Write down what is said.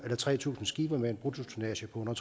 tre tusind skibe med en bruttotonnage på under